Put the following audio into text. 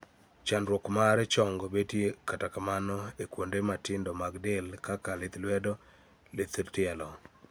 Chandruok mar chong' betie kata kamano e kuonde mmatindo mag del kaka (lith ,wedo ,lith tielo)